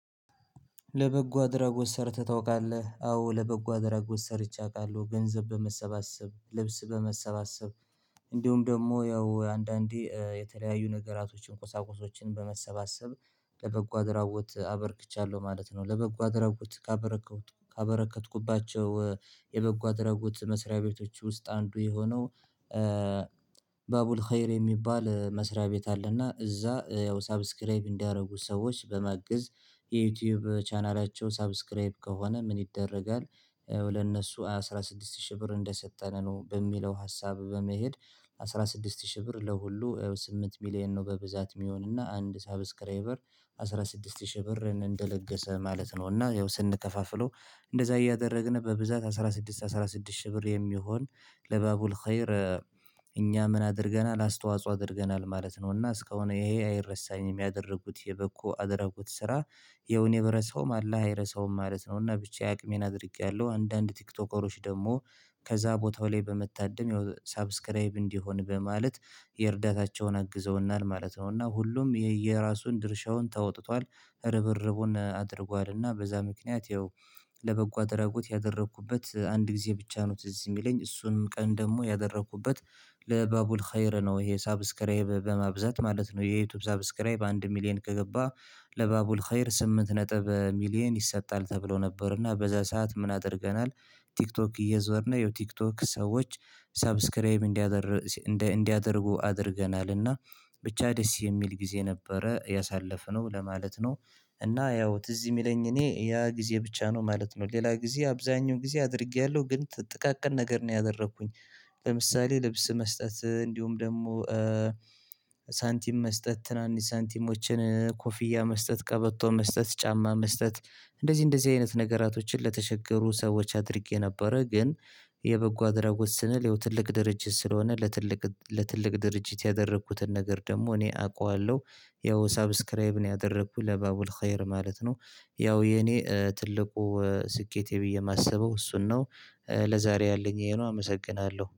ለበጎ አድራጎት ሰርተህ ታውቃለህ አዎ ለበጎ አድራጎት ሰርቼ አውቃለሁ ገንዘብ በመሰባሰብ ልብስ በመሰባሰብ። እንዲሁም ደግሞ ያው አንዳንዴ የተለያዩ ነገራቶችን ቁሳቁሶችን በመሰባሰብ። ለበጎ አድራጎት አበርክቻለሁ ማለት ነው ለበጎ አድራጎት። ካበረከትኩባቸው የበጎ አደራጎት መስሪያ ቤቶች ውስጥ አንዱ የሆነው። ባቡር ሀይል የሚባል መስሪያ ቤት አለና እዛ ያው ሰብስክራይብ እንዲያደርጉ ሰዎች በማገዝ። የዩቲዩብ ቻናላቸው ሰብስክራይብ ከሆነ ምን ይደረጋል? ለእነሱ አስራ ስድስት ሺህ ብር እንደሰጠን ነው በሚለው ሀሳብ በመሄድ። አስራ ስድስት ሺህ ብር ለሁሉ ስምንት ሚሊየን ነው በብዛት የሚሆንና አንድ ሰብስክራይበር አስራ ስድስት ሺህ ብር እንደለገሰ ማለት ነው። እና ያው ስንከፋፍለው እንደዛ እያደረግን በብዛት አስራ ስድስት አስራ ስድስት ሺህ ብር የሚሆን ለባቡር ሀይል። እኛ ምን አድርገናል አስተዋጽኦ አድርገናል ማለት ነውና እስካሁን ይሄ አይረሳኝም ያደረጉት የበኩ አደረጉት ስራ የውኔ ብረሳውም አላህ አይረሳውም ማለት ነው። እና ብቻዬን አቅሜን አድርጌያለሁ አንዳንድ ቲክቶከሮች ደግሞ ከዛ ቦታው ላይ በመታደም ያው ሰብስክራይብ እንዲሆን በማለት የእርዳታቸውን አግዘውናል ማለት ነው። እና ሁሉም የየራሱን ድርሻውን ተወጥቷል ርብርቡን አድርጓልና በዛ ምክንያት ይኸው። ለበጎ አድራጎት ያደረኩበት አንድ ጊዜ ብቻ ነው ትዝ የሚለኝ እሱንም ቀን ደግሞ ያደረኩበት። ለባቡል ሀይር ነው ይሄ ሰብስክራይብ በማብዛት ማለት ነው። የዩቲዩብ ሰብስክራይብ አንድ ሚሊየን ከገባ። ለባቡል ሀየር ስምንት ነጥብ ሚሊየን ይሰጣል ተብሎ ነበር እና በዛ ሰዓት ምን አድርገናል? ቲክቶክ እየዞርን ይኸው ቲክቶክ ሰዎች ሰብስክራይብ እንዲያረጉ እንዲያደርጉ አድርገናልና። ብቻ ደስ የሚል ጊዜ ነበረ ያሳለፍነው ለማለት ነው። እና ያው ትዝ የሚለኝ እኔ ያ ጊዜ ብቻ ነው ማለት ነው ሌላ ጊዜ አብዛኛው ጊዜ አድርጌያለሁ ግን ጥቃቅን ነገር ነው ያደረኩኝ። ለምሳሌ ልብስ መስጠት እንዲሁም ደግሞ ሳንቲም መስጠት ትናንሽ ሳንቲሞችን ኮፊያ መስጠት ቀበቶ መስጠት ጫማ መስጠት እንደዚህ እንደዚህ አይነት ነገራቶችን ለተቸገሩ ሰዎች አድርጌ ነበር ግን። የበጎ አድራጎት ስንል ይኸው ትልቅ ድርጅት ስለሆነ ለትልቅ ለትልቅ ድርጅት ያደረኩትን ነገር ደግሞ እኔ አውቃለሁ። ያው ሰብስክራይብ ነው ያደረኩት ለባቡል ሀየር ማለት ነው። ያው የኔ ትልቁ ስኬቴ ብዬ የማስበው እሱን ነው። ለዛሬ ያለኝ ይሄን አመሰግናለሁ